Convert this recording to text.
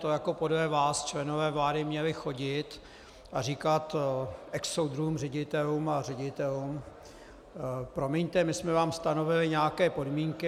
To jako podle vás členové vlády měli chodit a říkat exsoudruhům ředitelům a ředitelům "promiňte, my jsme vám stanovili nějaké podmínky"?